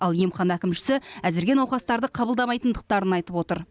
ал емхана әкімшісі әзірге науқастарды қабылдамайтындықтарын айтып отыр